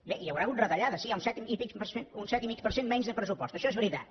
bé hi deu haver hagut retallades sí hi ha un set i mig per cent menys de pressupost això és veritat